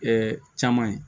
caman ye